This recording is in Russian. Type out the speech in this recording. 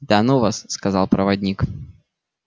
да ну вас сказал проводник